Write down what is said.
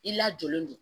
I lajɔlen don